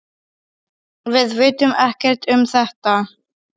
Við vitum ekkert um þetta.